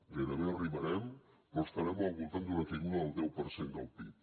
gairebé arribarem però estarem al voltant d’una caiguda del deu per cent del pib